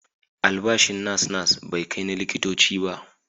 Albashin nas-nas bai kai na likitoci ba.